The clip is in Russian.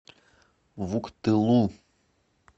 вуктылу